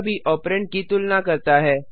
यह भी ऑपरेंड की तुलना करता है